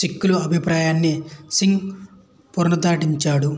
సిక్కుల అభిప్రాయాన్ని సింగ్ పునరుద్ఘాటించాడు